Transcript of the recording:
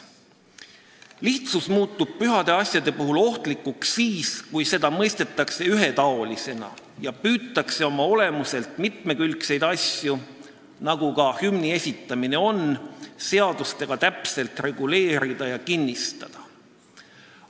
Lihtsus muutub pühade asjade puhul ohtlikuks siis, kui seda mõistetakse ühetaolisena ja püütakse oma olemuselt mitmekülgseid asju, nagu ka hümni esitamine on, seadustega täpselt reguleerida ja kinnistada.